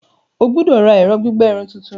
O gbọdọ ra ẹrọ gbigbẹ irun tuntun!